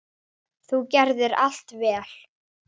Þú gerðir allt vel.